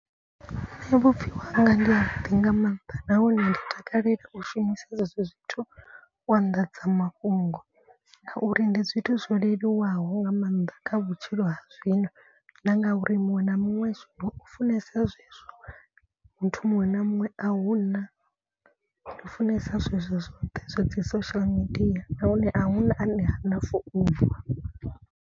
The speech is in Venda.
Vhupfhiwa hanga ndi ha vhuḓi nga maanḓa nahone ndi takalela u shumisa zwezwo zwithu u anḓadzamafhungo. Ngauri ndi zwithu zwo leluwaho nga maanḓa kha vhutshilo ha zwino. Na nga uri muṅwe na muṅwe zwino u funesa zwezwo. Muthu muṅwe na muṅwe a huna u funesa zwezwo zwoṱhe zwa dzi social media nahone a huna ane hana founu.